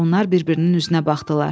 Onlar bir-birinin üzünə baxdılar.